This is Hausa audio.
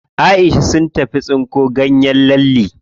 Aisha sun tafi tsinko ganyen lalle.